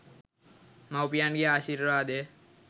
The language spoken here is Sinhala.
මව්පියන්ගේ ආශීර්වාදය